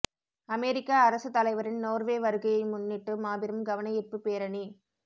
அமெரிக்க அரச தலைவரின் நோர்வே வருகையை முன்னிட்டு மாபெரும் கவனயீர்ப்புப் பேரணி